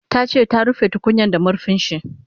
Tace ta rufe tukunyan da marfinshi